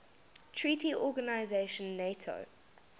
treaty organization nato